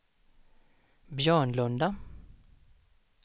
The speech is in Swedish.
Björnlunda